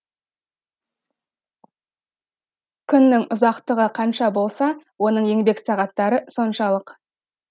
күннің ұзақтығы қанша болса оның еңбек сағаттары соншалық